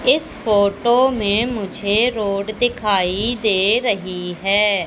इस फोटो में मुझे रोड दिखाई दे रही हैं।